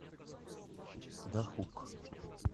дахук